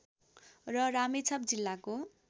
र रामेछाप जिल्लाको